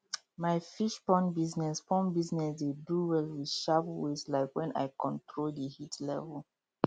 my fish pond business pond business dey do well with sharp ways like wen i control di heat level